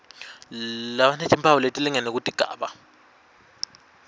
labanetimphawu letilingene kutigaba